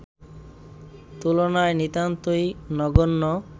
তুলনায় নিতান্তই নগণ্য